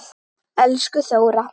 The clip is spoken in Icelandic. Elsku Þóra.